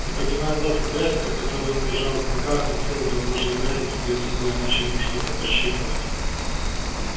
не поднимая глаз от графиков которые он держал в руках он сел разложил графики перед собой и начал что-то подсчитывать